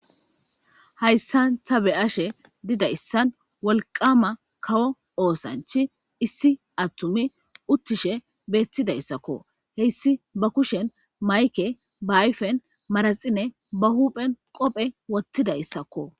Haysan ta beyashe dizaysan wolqama kawo osanchay issi attumay uttishe beetidaysako haysi ba kushen mayke ba ayfen manaxire ba huphen qoope wothidaysako